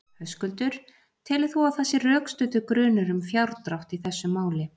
Höskuldur: Telur þú að það sé rökstuddur grunur um fjárdrátt í þessu máli?